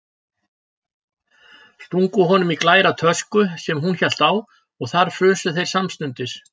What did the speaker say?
Stungu honum í glæra tösku sem hún hélt á og þar frusu þeir samstundis.